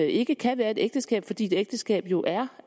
ikke kan være et ægteskab fordi et ægteskab jo er